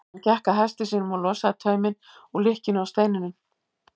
Hann gekk að hesti sínum og losaði tauminn úr lykkjunni á steininum.